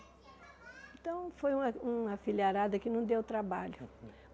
Então, foi uma uma filiarada que não deu trabalho.